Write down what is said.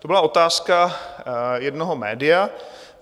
To byla otázka jednoho média.